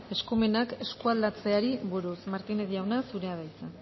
eskumenak eskualdatzeari buruz martínez jauna zurea da hitza